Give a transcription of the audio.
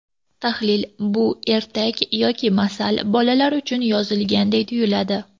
Tahlil Bu ertak yoki masal bolalar uchun yozilganday tuyuladi.